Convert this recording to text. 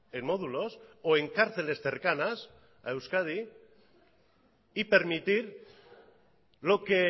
en módulos o en cárceles cercanas a euskadi y permitir lo que